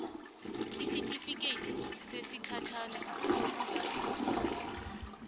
isitifikethi sesikhatjhana sokuzazisa